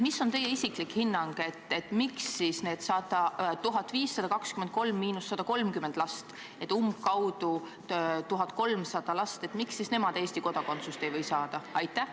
Mis on teie isiklik hinnang, miks siis need 1523 – 130 last, umbkaudu 1300 last, Eesti kodakondsust ei või saada?